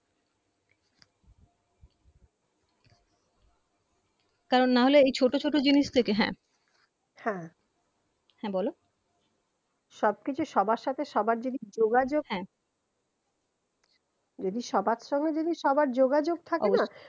কারন না হলে এই ছোট ছোট জিনিস থেকে হ্যা হ্যা হ্যা বলো সব কিছু সবার সাথে সবার যদি যোগাযোগ হ্যা যদি সবার সঙ্গে যদি সবার যোগাযোগ থাকেনা